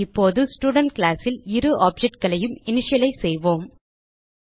இப்போது ஸ்டூடென்ட் classல் இரு ஆப்ஜெக்ட் களையும் இனிஷியலைஸ் செய்வோம்